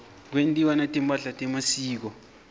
kwentiwa netimpahla temasiko